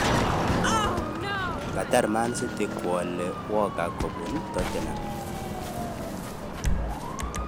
Katar man city ko alei walker ko bun toten ham